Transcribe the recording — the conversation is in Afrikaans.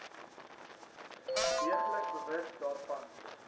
deeglik bewus daarvan